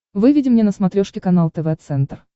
выведи мне на смотрешке канал тв центр